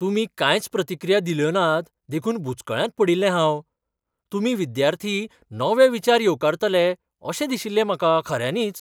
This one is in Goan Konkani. तुमी कांयच प्रतिक्रिया दिल्योनात देखून बुचकळ्यांत पडील्लें हांव. तुमी विद्यार्थी नवे विचार येवकारतले अशें दिशिल्लें म्हाका खऱ्यांनीच.